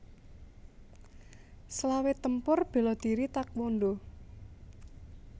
Selawe Tempur bela diri taekwondo